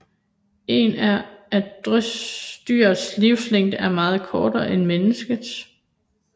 En er at dyrs livslængde er meget kortere end menneskers